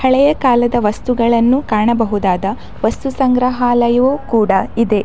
ಹಳೆಯ ಕಾಲದ ವಸ್ತುಗಳನ್ನು ಕಾಣಬಹುದಾದ ವಸ್ತು ಸಂಗ್ರಹಾಲಯವೂ ಕೂಡ ಇದೆ .